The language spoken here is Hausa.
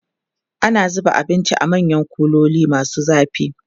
an zuba abinci a manyan kuloli masu zafi